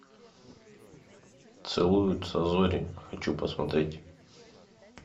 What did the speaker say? целуются зори хочу посмотреть